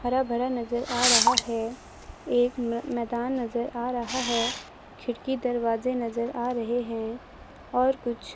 हरा भरा नजर आ रहा है एक मै मैदान नजर आ रहा है खिड़की दरवाजे नजर आ रहे हैं और कुछ--